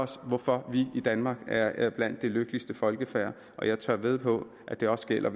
om hvorfor vi i danmark er blandt de lykkeligste folkefærd og jeg tør vædde på at der gælder